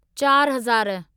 चारिहज़ार